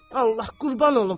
Allah qurban olum.